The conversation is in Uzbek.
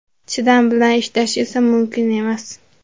Chidam bilan ishlash esa mumkin emas.